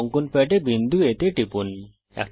অঙ্কন প্যাডে বিন্দু A তে টিপুন